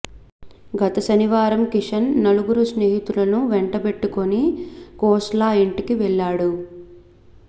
గత శనివారం కిషన్ నలుగురు స్నేహితులను వెంటబెట్టుకుని ఖోస్లా ఇంటికి వెళ్లాడు